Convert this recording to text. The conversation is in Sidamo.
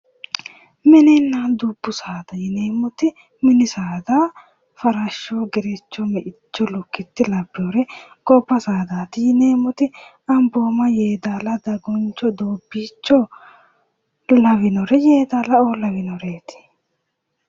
Mininna dubbu saada yineemmoti mini saada farasho gerecho me'icho lukkite labbinore, gobba saadaati yineemmoti ambooma yeedaala daguncho doobbicho yeedaalao lawinoreeti.